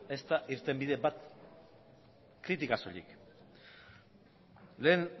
ezta irtenbide bat kritika soilik lehen